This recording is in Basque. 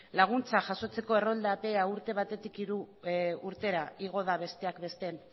laguntzak jasotzeko errolda epea urte batetik hiru urtera igo da besteak beste